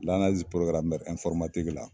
la.